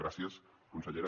gràcies consellera